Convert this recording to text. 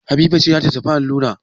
Habiba ce za ta tafi allura.